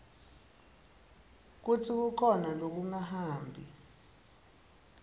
kutsi kukhona lokungahambi